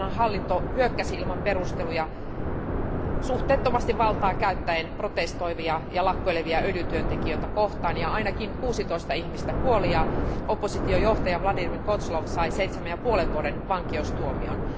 Tuolloinhan hallinto hyökkäsi ilman perusteluja suhteettomasti valtaa käyttäen protestoivia ja lakkoilevia öljytyöntekijöitä kohtaan ja ainakin 16 ihmistä kuoli ja oppositiojohtaja Vladimir Kozlov sai 7,5 vuoden vankeustuomion.